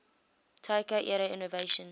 taika era innovation